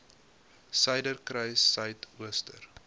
suiderkruissuidooster